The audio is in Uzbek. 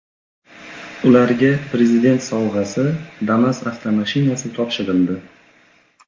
Ularga Prezident sovg‘asi Damas avtomashinasi topshirildi.